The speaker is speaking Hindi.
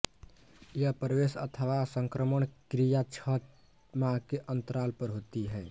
यह प्रवेश अथवा संक्रमण क्रिया छछ माह के अन्तराल पर होती है